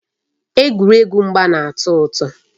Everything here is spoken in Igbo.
Egwuregwu mgba na-atọ ụtọ.